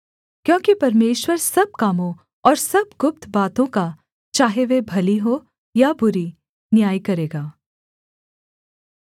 क्योंकि परमेश्वर सब कामों और सब गुप्त बातों का चाहे वे भली हों या बुरी न्याय करेगा